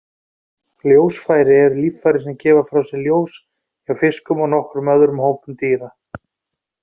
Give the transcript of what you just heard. Ljósfæri eru líffæri sem gefa frá sér ljós hjá fiskum og nokkrum öðrum hópum dýra.